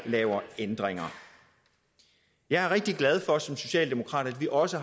laver ændringer jeg er rigtig glad for som socialdemokrat at vi også